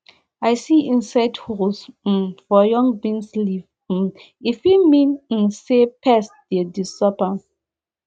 i see insect holes um for young beans leaves um e fit mean um say pests dey disturb dem